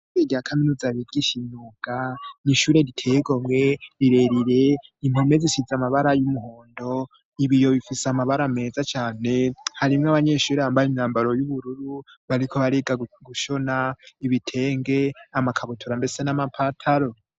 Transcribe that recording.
Ishuri rya kaminuza bigisha imyuga ,n'ishure riteye igomwe rirerire impome zisize amabara y'umuhondo, ibiyo bifise amabara meza cane, harimwo abanyeshuri bambaye imyambaro y'ubururu, bariko bariga gushona ibitenge ,amakabutura, mbese n'amapataro.